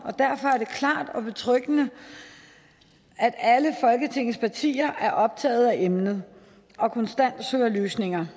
derfor er det klart betryggende at alle folketingets partier er optaget af emnet og konstant søger løsninger